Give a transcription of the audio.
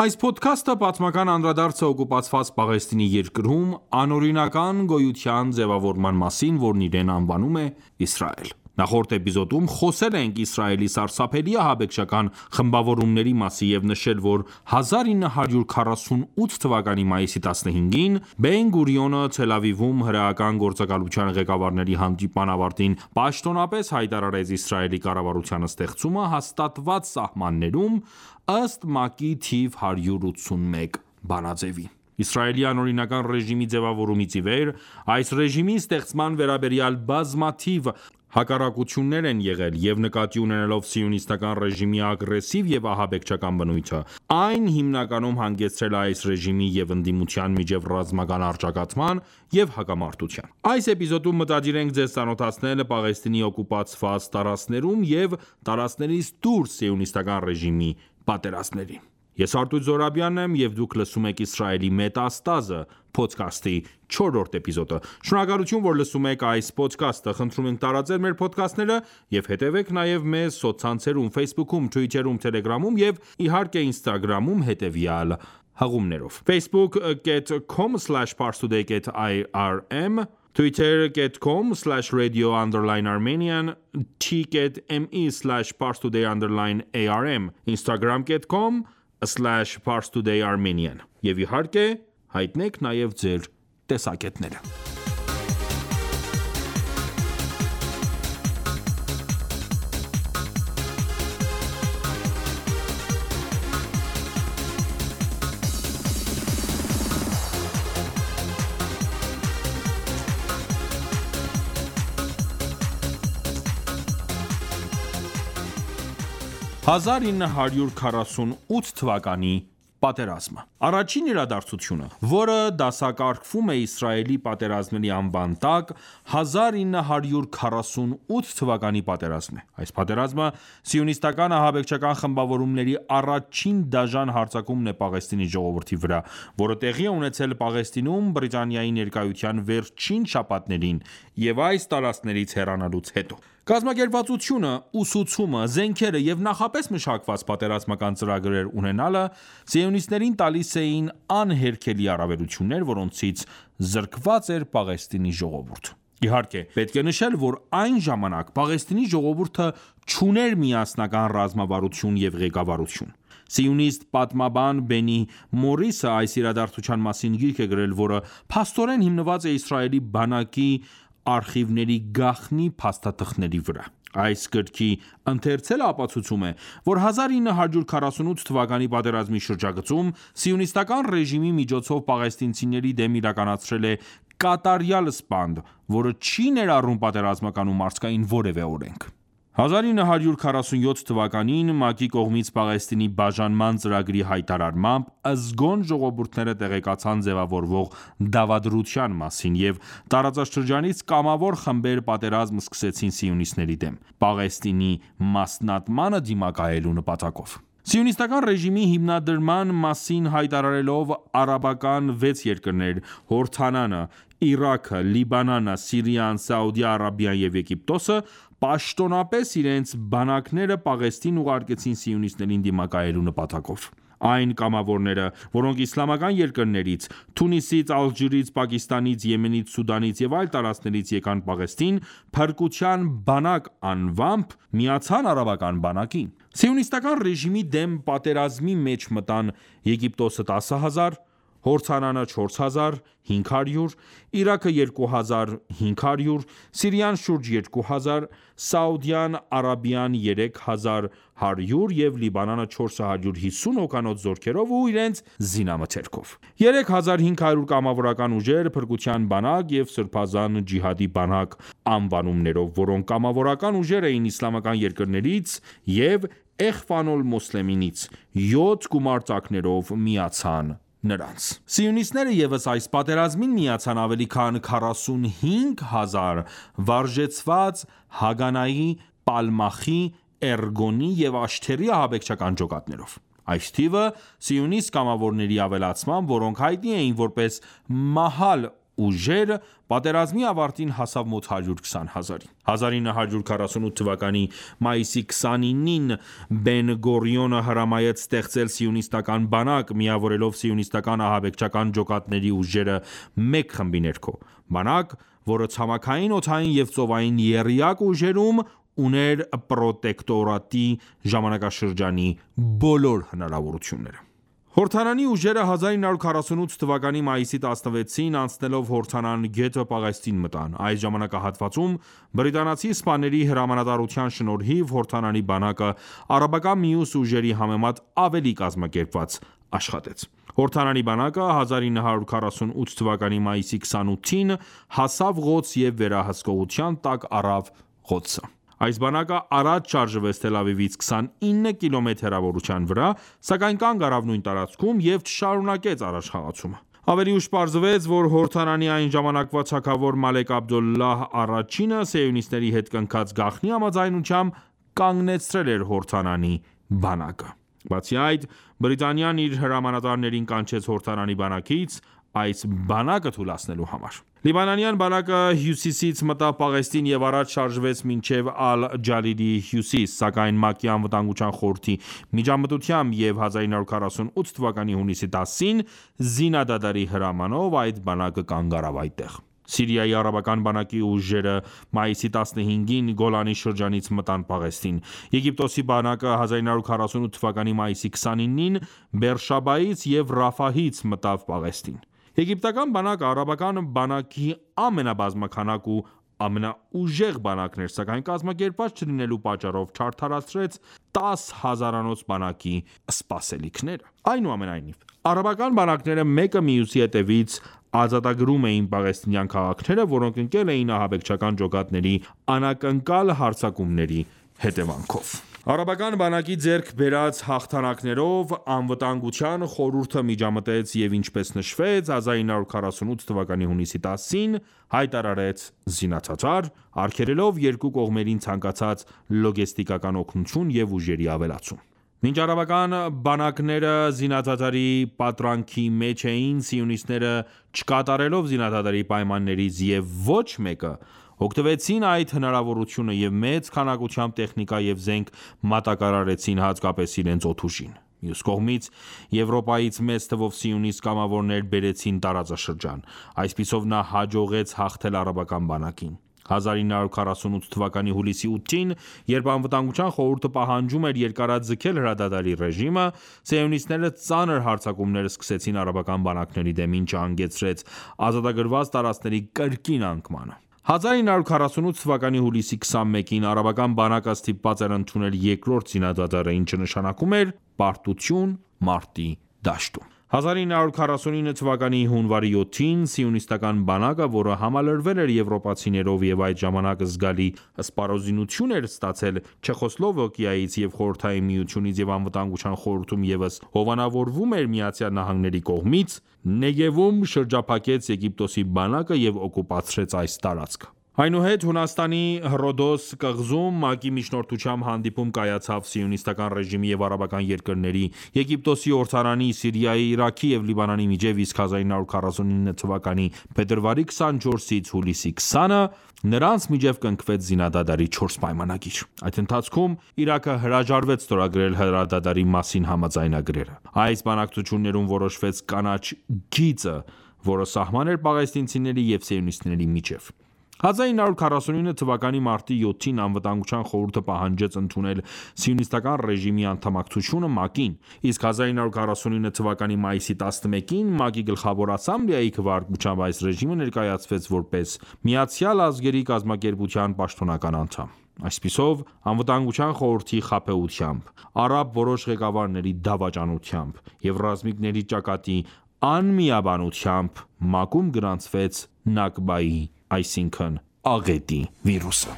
Այս փոդքաստը պատմական անդրադարձ է օկուպացված Պաղեստինի երկրում անօրինական գոյության ձևավորման մասին, որն իրեն անվանում է Իսրայել: Նախորդ էպիզոդում խոսել ենք Իսրայելի սարսափելի ահաբեկչական խմբավորումների մասին, և նշել, որ 1948 թվականի մայիսի 15-ին Բեն-Գուրիոնը Թել Ավիվում հրեական գործակալության ղեկավարների հանդիպման ավարտին պաշտոնապես հայտարարեց Իսրայելի կառավարության ստեղծումը հաստատված սահմաններում, ըստ ՄԱԿ-ի թիվ 181 բանաձեւի: Իսրայելի անօրինական ռեժիմի ձևավորումից ի վեր այս ռեժիմի ստեղծման վերաբերյալ բազմաթիվ հակառակություններ են եղել,և նկատի ունենալով սիոնիստական ռեժիմի ագրեսիվ և ահաբեկչական բնույթը՝ այն հիմնականում հանգեցրել է այս ռեժիմի և ընդդիմության միջև ռազմական առճակատման և հակամարտության։ Այս էպիզոդում մտադիր ենք ձեզ ծանոթացնել Պաղեստինի օկուպացված տարածքներում և տարածքներից դուրս սիոնիստական ռեժիմի պատերազմներին: Ես Արտույտ Զոհրաբյանն եմ և դուք լսում եք «Իսրայելի մետաստազը» փոդքասթի չորրորդ էպիզոդը: Շնորհակալություն ,որ լսում եք այս փոդքաստը: Խնդրում ենք տարածել մեր փոդքասթները և հետևեք մեզ նաև սոցցանցերում Ֆեյսբուքում, թվիթերում, թելեգրամում և ինստագրամում, հետևյալ հղումներով՝ Եվ իհարկե հայտնեք նաև ձեր տեսակետները: 1948 թվականի պատերազմը Առաջին իրադարձությունը, որը դասակարգվում է Իսրայելի պատերազմների անվան տակ, 1948 թվականի պատերազմն է: Այս պատերազմը, սիոնիստական ահաբեկչական խմբավորումների առաջին դաժան հարձակումն է Պաղեստինի ժողովրդի վրա, որը տեղի է ունեցել Պաղեստինում Բրիտանիայի ներկայության վերջին շաբաթներին և այս տարծքներից հեռանալուց հետո։ Կազմակերպվածությունը, ուսուցումը, զենքերը և նախապես մշակված պատերազմական ծրագրեր ունենալը սիոնիստներին տալիս էին անհերքելի առավելություններ, որոնցից զրկված էր Պաղեստինի ժողովուրդը: Իհարկե, պետք է նշել, որ այն ժամանակ Պաղեստինի ժողովուրդը չուներ միասնական ռազմավարություն և ղեկավարություն։ Սիոնիստ պատմաբան Բենի Մորիսը այս իրադարձության մասին գիրք է գրել, որը փաստորեն հիմնված է Իսրայելի բանակի արխիվների գաղտնի փաստաթղթերի վրա։ Այս գրքի ընթերցելը ապացուցում է, որ 1948 թվականի պատերազմի շրջագծում սիոնիստական ռեժիմի միջոցով պաղեստինցիների դեմ իրականացել է կատարյալ սպանդ ,որը չի ներառում պատերազմական ու մարդկային որևէ օրենք: 1947 թվականին ՄԱԿ-ի կողմից Պաղեստինի բաժանման ծրագրի հայտարարմամբ, զգոն ժողովուրդները տեղեկացան ձևավորվող դավադրության մասին, և տարածաշրջանից կամավոր խմբեր պատերազմ սկսեցին սիոնիստների դեմ, Պաղեստինի մասնատմանը դիմակայելու նպատակով: Սիոնիստական ռեժիմի հիմնադրման մասին հայտարարվելով ,արաբական 6 երկրներ՝Հորդանանը, Իրաքը, Լիբանանը, Սիրիան ,Սաուդյան Արաբիան և Եգիպտոսսը պաշտոնապես իրենց բանակները Պաղեստին ուղարկեցին սիոնիստներին դիմակայելու նպատակով: Այն կամավորները ,որոնք իսլամական երկրներից՝ Թունիսից, Ալժիրից, Պակիստանից, Եմենից, Սուդանից եւ այլ տարածքներից եկան Պաղեստին «Փրկության բանակ»անվամբ միացան արաբական բանակին: Սիոնիստական ռեժիմի դեմ պատերազմի մեջ մտան՝Եգիպտոսը 10 հազար, Հորդնանը 4հազար 500,Իրաքը 2 հազար 500,Սիրիան շուրջ երկու հազար, Սաուդյան Արաբիան երեք հազար 100 և Լիբանանը 450 հոգանոց զորքերով ու իրենց զինամթերքով: 3 հազար 500 կամավորական ուժեր «Փրկության բանակ» և «Սրբազան ջիհադի բանակ» անվանումներով, որոնք կամավորական ուժեր էին իսլամական երկրներից և «Էխվան-օլ-մոսլեմին»-ից, 7 գումարտակներով միացան նրանց ։ Սիոնիստները ևս այս պատերազմին միացան ավելի քան 45000 վարժեցված Հագանայի, Պալմախի, Էրգոնի և Աշթերի ահաբեկչական ջոկատներով:Այս թիվը ,սիոնիստ կամավորների ավելացմամբ, որոնք հայտնի էին որպես «Մահալ» ուժեր, պատերազմի ավարտին հասավ մոտ 120 հազարի: 1948 թվականի մայիսի 29-ին ,Բեն Գուրիոնը հրամայեց ստեղծել սիոնիստական բանակ՝ միավորելով սիոնիստական ահաբեկչական ջոկատների ուժերը մեկ խմբի ներքո։ Բանակ, որը ցամաքային, օդային և ծովային եռյակ ուժերում ուներ պրոտեկտորատի ժամանակաշրջանի բոլոր հնարավորությունները: Հորդանանի ուժերը 1948 թվականի մայիսի 16-ին՝ անցնելով Հորդանան գետը Պաղեստին մտան ։ Այս ժամանակահատվածում բրիտանացի սպաների հրամանատարության շնորհիվ Հորդանանի բանակը արաբական մյուս ուժերի համեմատ ավելի կազմակերպված աշխատեց: Հորդանանի բանակը 1948 թվականի մայիսի 28-ին հասավ Ղոդս և վերահսկողության տակ առավ Ղոդսը։ Այս բանակը առաջ շարժվեց Թել Ավիվից 29 կիլոմետր հեռավորության վրա, սակայն կանգ առավ նույն տարածքում և չշարունակեց առաջխաղացումը։ Ավելի ուշ պարզվեց, որ Հորդանանի այն ժամանակվա թագավոր Մալեք Աբդոլլահ առաջինը սիոնիստների հետ կնքած գաղտնի համաձայնությամբ կանգնեցրել է Հորդանանի բանակը: Բացի այդ, Բրիտանիան իր հրամանատարներին կանչեց Հորդանանի բանակից՝ այս բանակը թուլացնելու համար։ Լիբանանյան բանակը հյուսիսից մտավ Պաղեստին և առաջ շարժվեց մինչև Ալ-Ջալիլի հյուսիս, սակայն ՄԱԿ-ի Անվտանգության խորհրդի միջամտությամբ և 1948 թվականի հունիսի 10-ին զինադադարի հրամանով ,այդ բանակը կանգ առավ այնտեղ։ Սիրիայի արաբական բանակի ուժերը մայիսի 15-ին Գոլանի շրջանից մտան Պաղեստին։ Եգիպտոսի բանակը 1948 թվականի մայիսի 29-ին Բերշաբայից և Ռաֆահից մտավ Պաղեստին։ Եգիպտական բանակը արաբական բանակի ամենաբազմաքանակ ու ամենաուժեղ բանակն էր, սակայն կազմակերպված չլինելու պատճառով չարդարացրեց 10 հազարանոց բանակի սպասելիքները։ Այնուամենայնիվ, արաբական բանակները մեկը մյուսի հետևից ազատագրում էին պաղեստինյան քաղաքները, որոնք ընկել էին ահաբեկչական ջոկատների անակնկալ հարձակումների հետևանքով։ Արաբական բանակի ձեռք բերած հաղթանակներով Անվտանգության խորհուրդը միջամտեց և, ինչպես նշվեց, 1948 թվականի հունիսի 10-ին հայտարարեց զինադադար՝ արգելելով երկու կողմերին ցանկացած լոգեստիկական օգնություն և ուժերի ավելացում։ Մինչ արաբական բանակները զինադադարի պատրանքի մեջ էին, սիոնիստները, չկատարելով զինադադարի պայմաններից և ոչ մեկը, օգտվեցին այդ հնարավորությունը և մեծ քանակությամբ տեխնիկա և զենք մատակարարեցին հատկապես իրենց օդուժին: Մյուս կողմից, Եվրոպայից մեծ թվով սիոնիստ կամավորներ բերեցին տարածաշրջան:Այսպիսով նա հաջողեց հաղթել արաբական բանակին:1948 թվականի հուլիսի 8-ին, երբ Անվտանգության խորհուրդը պահանջում էր երկարաձգել հրադադարի ռեժիմը, սիոնիստները ծանր հարձակումներ սկսեցին արաբական բանակների դեմ, ինչը հանգեցրեց ազատագրված տարածքների կրկին անկմանը։1948 թվականի հուլիսի 21-ին արաբական բանակը ստիպված էր ընդունել երկրորդ զինադադարը, ինչը նշանակում էր պարտություն մարտի դաշտում։ 1949 թվականի հունվարի 7-ին սիոնիստական բանակը, որը համալրվել էր եվրոպացիներով և այդ ժամանակ զգալի սպառազինություն էր ստացել Չեխոսլովակիայից և Խորհրդային Միությունից և Անվտանգության խորհրդում ևս հովանավորվում էր ԱՄՆ-ի կողմից, Նեգևում շրջափակեց Եգիպտոսի բանակը և օկուպացրեց այս տարածքը: Այնուհետ Հունաստանի Հռոդոս կղզում ՄԱԿ-ի միջնորդությամբ հանդիպում կայացավ սիոնիստական ռեժիմի և արաբական երկրների՝ Եգիպտոսի, Հորդանանի, Սիրիայի, Իրաքի և Լիբանանի միջև, իսկ 1949 թվականի փետրվարի 24-ից հուլիսի 20-ը նրանց միջեւ կնքվեց զինադադարի 4 պայմանագիր: Այդ ընթացքում Իրաքը հրաժարվեց ստորագրել հրադադարի մասին համաձայնագրերը։ Այս բանակցություններում որոշվեց «Կանաչ գիծը», որը սահման էր պաղեստինցիների և սիոնիստների միջև։1949 թվականի մարտի 7-ին Անվտանգության խորհուրդը պահանջեց ընդունել սիոնիստական ռեժիմի անդամակցությունը ՄԱԿ-ին, իսկ 1949 թվականի մայիսի 11-ին ՄԱԿ-ի Գլխավոր ասամբլեայի քվեարկությամբ այս ռեժիմը ներկայացվեց որպես ՄԱԿ-ի պաշտոնական անդամ։ Այսպիսով Անվտանգության խորհրդի խաբեությամբ, արաբ որոշ ղեկավարների դավաճանությամբ և ռազմիկների ճակատի անմիաբանությամբ, ՄԱԿ-ում գրանցվեց «Նակբա»-ի վիրուսը։